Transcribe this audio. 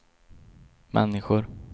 människor